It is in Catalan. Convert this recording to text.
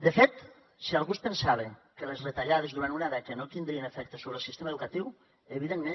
de fet si algú es pensava que les retallades durant una dècada no tindrien efecte sobre el sistema educatiu evidentment